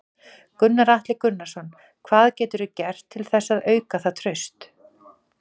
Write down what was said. Gunnar Atli Gunnarsson: Hvað geturðu gert til þess að auka það traust?